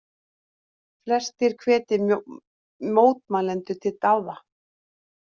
Flestir hvetji mótmælendur til dáða